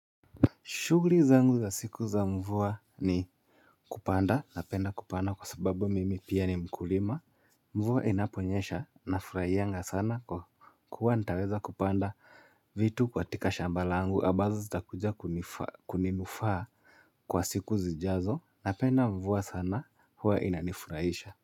Shugri zangu za siku za mvua ni kupanda, napenda kupanda kwa sababu mimi pia ni mkulima. Mvua inaponyesha nafurahianga sana kwa kuwa nitaweza kupanda vitu kwa tika shambalangu. Ambazo zita kuja kuninufaa kwa siku zijaazo. Napenda mvua sana huwa inanifuraisha.